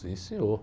Sim, senhor.